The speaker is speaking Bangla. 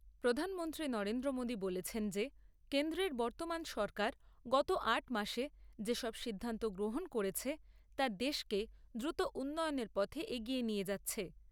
প্রধানমন্ত্রী নরেন্দ্র মোদী বলেছেন যে কেন্দ্রের বর্তমান সরকার গত আট মাসে যেসব সিদ্ধান্ত গ্রহণ করেছে তা দেশকে দ্রুত উন্নয়নের পথে এগিয়ে নিয়ে যাচ্ছে।